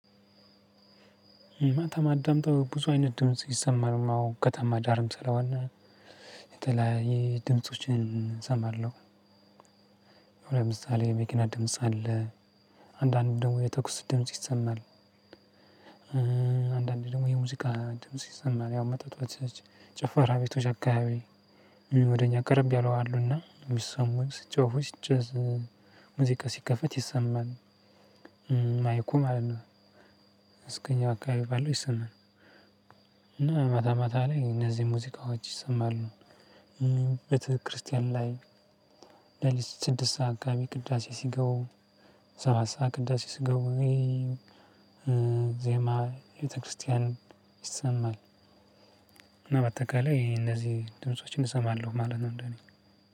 ማታ ማዳምጠው ብዙ አይነት ድምጽ ይሰማናል አዎ ከተማ ዳርም ስለሆነ የተለያየ ድምፆችን እሰማለሁ። ለምሳሌ መኪና ድምጽ አለ። አንዳንድ ደግሞ የተኩስ ድምጽ ይሰማል። አንዳንድ ደግሞ የሙዚቃ ድምጽ ይሰማል። ያው መጠጥ ቤቶች ጭፈራ ቤቶች አከባቢ ወደ እኛ ቀረብ ያሉ አሉና የሚሰሙኝ ስጮሁ ጭዝ ሙዚቃ ሲከፈት ይሰማል። ማይኩም ማለት ነው። እስከኛ አካባቢ ባለው ይሰማል። እና መታ መታ ላይ እነዚህ ሙዚቃዎች ይሰማሉ። ቤተክርስቲያን ላይ ለሊት ስድስት ሰዓት አካባቢ ቅዳሴ ሲገቡ ሰባት ሰዓት ቅዳሴ ሲገቡ ዜማ የቤተክርስቲያን ይሰማል። በአጠቃላይ ይሄ እነዚህ ድምፆችን እሰማለሁ ማለት ነው። እንደኔ